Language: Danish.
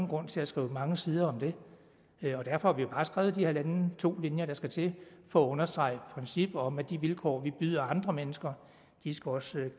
grund til at skrive mange sider om det og derfor har vi jo bare skrevet de halvanden to linjer der skal til for at understrege princippet om at de vilkår vi byder andre mennesker også